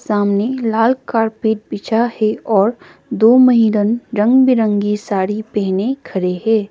सामने लाल कारपेट पीछे है और दो महिला रंग बिरंगी साड़ी पहने खड़े है।